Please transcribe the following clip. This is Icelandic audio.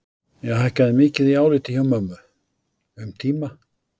Ég hækkaði mikið í áliti hjá mömmu. um tíma.